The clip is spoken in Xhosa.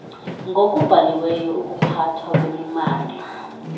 ngokubhaliweyo ukuphathwa kwemimandla